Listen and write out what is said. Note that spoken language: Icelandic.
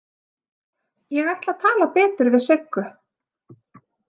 Ég ætla að tala betur við Siggu.